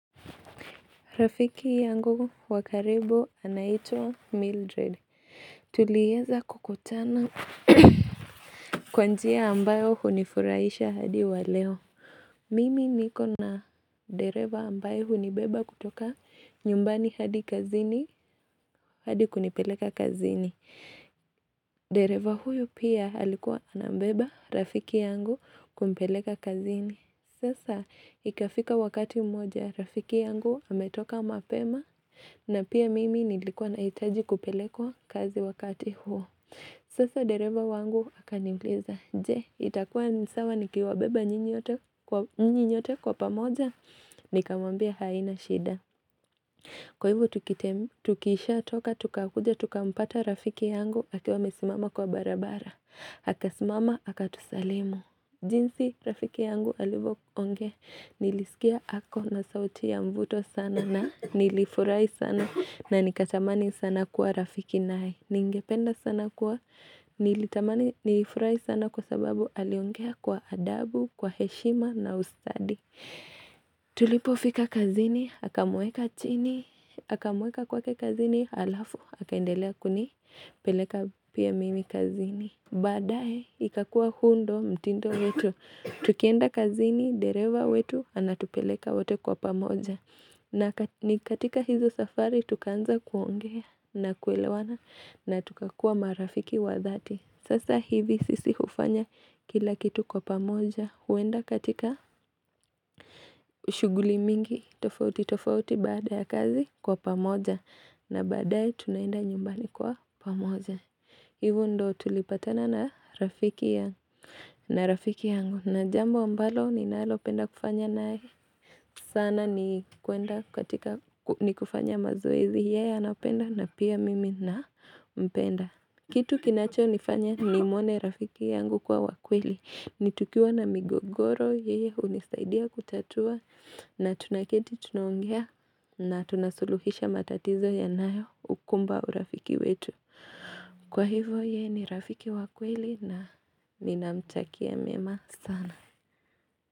Rafiki yangu wakaribu anaitwa Mildred. Tulieza kukutana kwanjia ambayo hunifurahisha hadi waleo. Mimi niko na dereva ambaye hunibeba kutoka nyumbani hadi kazini, hadi kunipeleka kazini. Dereva huyo pia alikuwa anambeba, Rafiki yangu, kumpeleka kazini. Sasa ikafika wakati mmoja, rafiki yangu ametoka mapema na pia mimi nilikwa nahitaji kupelekwa kazi wakati huo. Sasa dereva wangu akaniuliza, je itakua nisawa nikiwa beba nyinyi nyote kwa pamoja, nikammbia haina shida. Kwa ivo tukishatoka, tukakuja, tukampata rafiki yangu akiwa amesimama kwa barabara, akasimama, akatusalimu. Jinsi rafiki yangu alivyonge nilisikia ako na sauti ya mvuto sana na nilifurahi sana na nikatamani sana kuwa rafiki naye. Ningependa sana kuwa nilitamani nilifurai sana kwa sababu aliongea kwa adabu, kwa heshima na usadi. Tulipofika kazini, akamueka chini, akamueka kwake kazini, alafu, akaendelea kunipeleka pia mimi kazini. Baadae ikakua huu ndio mtindo wetu, tukienda kazini, dereva wetu, anatupeleka wote kwa pamoja. Na nikatika hizo safari tukaanza kuongea na kuelewana na tukakua marafiki wathati. Sasa hivi sisi hufanya kila kitu kwa pamoja, huenda katika shuguli mingi, tofauti tofauti baada ya kazi kwa pamoja. Na baadae tunaenda nyumbani kwa pamoja. Ivo ndio tulipatana na rafiki yangu na jambo ambalo ni nalopenda kufanya na sana ni kuenda katika ni kufanya mazoezi ya napenda na pia mimi na mpenda kitu kinacho nifanya ni mwone rafiki yangu kuwa wakweli ni tukiwa na migogoro yeye hunisaidia kutatua na tunaketi tunaongea na tunasuluhisha matatizo yanayo ukumba urafiki wetu Kwa hivo yeye ni rafiki wa kweli na ni namtakia mema sana.